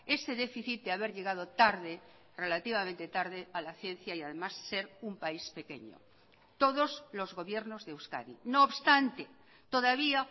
ese déficit de haber llegado tarde relativamente tarde a la ciencia y además ser un país pequeño todos los gobiernos de euskadi no obstante todavía